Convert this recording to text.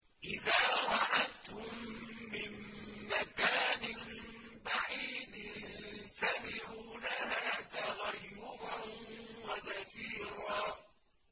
إِذَا رَأَتْهُم مِّن مَّكَانٍ بَعِيدٍ سَمِعُوا لَهَا تَغَيُّظًا وَزَفِيرًا